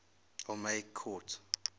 ptolemaic court